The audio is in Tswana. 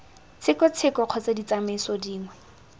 tsheko tsheko kgotsa ditsamaiso dingwe